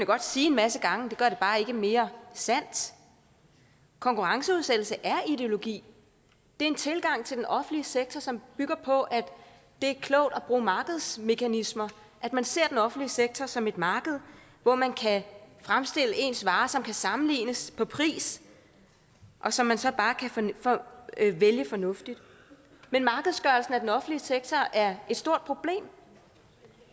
godt sige en masse gange men det gør det bare ikke mere sandt konkurrenceudsættelse er ideologi det er en tilgang til den offentlige sektor som bygger på at det er klogt at bruge markedsmekanismer at man ser den offentlige sektor som et marked hvor man kan fremstille ens varer som kan sammenlignes på pris og som man så bare kan vælge fornuftigt men markedsgørelsen af den offentlige sektor er et stort problem